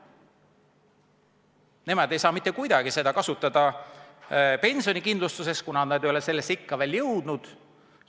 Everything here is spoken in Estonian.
Nemad ei saa mitte kuidagi seda kasutada pensionikindlustuseks, kuna nad ei ole sellesse ikka veel jõudnud.